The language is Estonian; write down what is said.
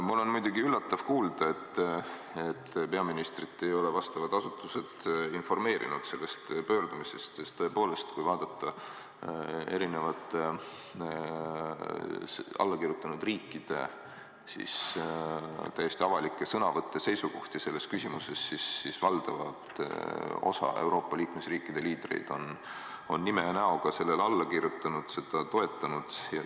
Mul on muidugi üllatav kuulda, et peaministrit ei ole vastavad asutused informeerinud sellest pöördumisest, sest tõepoolest, kui vaadata allakirjutanud riikide täiesti avalikke sõnavõtte-seisukohti selles küsimuses, siis valdava osa Euroopa liikmesriikide liidrid on oma nimega sellele alla kirjutanud ja seda toetanud.